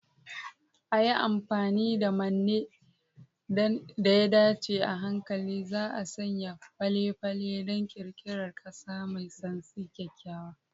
A yi amfani da manne da ya dace, a hankali za'a sanya fale-falen don ƙirƙirar ƙasa mai santsi, kyakkyawa.